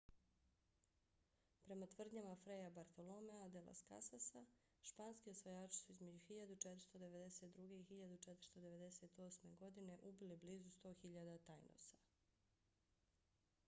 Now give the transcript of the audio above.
prema tvrdnjama fraya bartoloméa de las casasa tratado de las indias španski osvajači su između 1492. i 1498. godine ubili blizu 100.000 taínosa